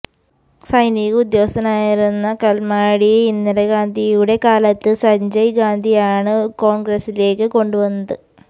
സൈനിക ഉദ്യോഗസ്ഥനായിരുന്ന കല്മാഡിയെ ഇന്ദിര ഗാന്ധിയുടെ കാലത്ത് സഞ്ജയ് ഗാന്ധിയാണ് കോണ്ഗ്രസിലേക്ക് കൊണ്ടുവന്നത്